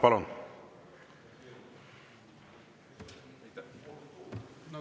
Palun!